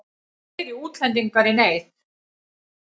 Fleiri útlendingar í neyð